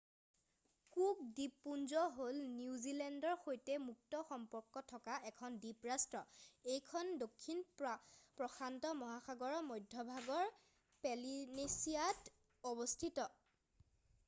cook দ্বীপপুঞ্জ হ'ল নিউজিলেণ্ডৰ সৈতে মুক্ত সম্পৰ্ক থকা এখন দ্বীপ ৰাষ্ট্ৰ এইখন দক্ষিণ প্ৰশান্ত মহাগৰৰ মধ্যভাগৰ পলিনেচিয়াত অৱস্থিত